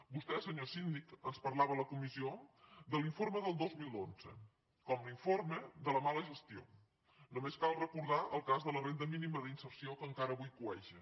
vostè senyor síndic ens parlava a la comissió de l’informe del dos mil onze com l’informe de la mala gestió només cal recordar el cas de la renda mínima d’inserció que encara avui cueja